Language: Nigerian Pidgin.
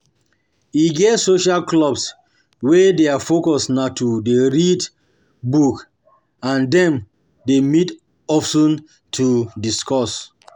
E get social clubs wey their focus na to dey read book and dem dey meet of ten to discuss